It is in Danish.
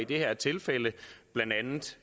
det her tilfælde blandt andet